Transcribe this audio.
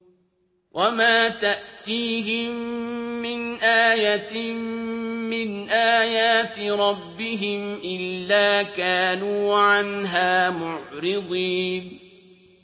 وَمَا تَأْتِيهِم مِّنْ آيَةٍ مِّنْ آيَاتِ رَبِّهِمْ إِلَّا كَانُوا عَنْهَا مُعْرِضِينَ